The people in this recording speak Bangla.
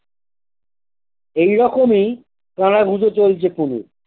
এইরকমই কানাঘুষো চলছে পুলুর।